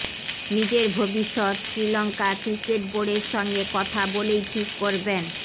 নিজের ভবিষ্যত শ্রীলঙঅকা ক্রিকেট বোর্জডের সঙ্গে কথা বলেই ঠিক করবেন